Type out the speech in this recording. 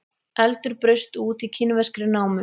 Eldur braust út í kínverskri námu